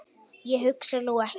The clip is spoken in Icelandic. Ég hugsa nú ekki.